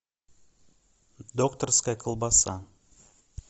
докторская колбаса